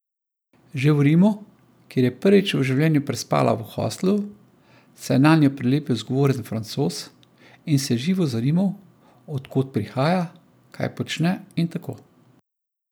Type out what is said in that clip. Že v Rimu, kjer je prvič v življenju prespala v hostlu, se je nanjo prilepil zgovoren Francoz in se živo zanimal, od kod prihaja, kaj počne in tako.